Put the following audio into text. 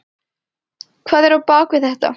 Hvað er á bak við þetta?